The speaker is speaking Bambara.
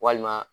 Walima